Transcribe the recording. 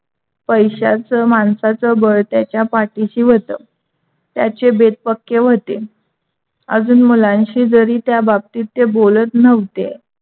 पैशाच माणसाचा बळ त्याच्या पाठीशी होत. त्याचे बेत पक्के होते. अजून मुलांशी जरी त्या बाबतीत ते बोलत नव्हते,